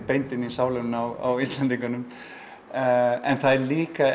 beint inn í sálina á Íslendingum en það er líka